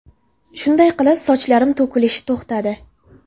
Shunday qilib, sochlarim to‘kilishi to‘xtadi.